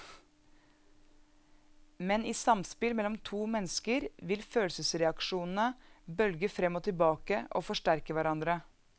Men i samspill mellom to mennesker vil følelsesreaksjonene bølge frem og tilbake og forsterke hverandre.